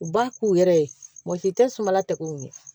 U b'a k'u yɛrɛ ye mɔgɔ si tɛ sumala tɛgɛ ko ɲɛ